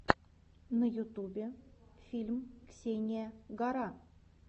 на ютубе фильм ксения гара